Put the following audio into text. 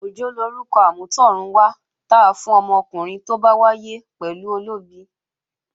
Òjó lorúkọ amútọ̀run wá ta fún ọmọkùnrin tó bá wáyé pẹ̀lú olóbi